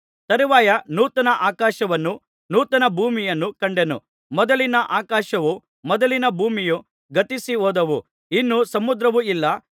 ತರುವಾಯ ನೂತನ ಆಕಾಶವನ್ನೂ ನೂತನ ಭೂಮಿಯನ್ನೂ ಕಂಡೆನು ಮೊದಲಿನ ಆಕಾಶವೂ ಮೊದಲಿನ ಭೂಮಿಯೂ ಗತಿಸಿ ಹೋದವು ಇನ್ನು ಸಮುದ್ರವು ಇಲ್ಲ